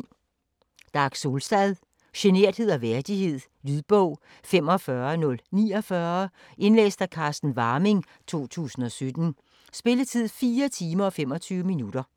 Solstad, Dag: Generthed og værdighed Lydbog 45049 Indlæst af Carsten Warming, 2017. Spilletid: 4 timer, 25 minutter.